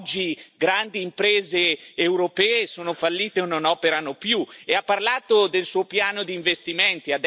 Oggi grandi imprese europee sono fallite, o non operano più, e ha parlato del suo piano di investimenti.